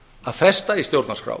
að festa í stjórnarskrá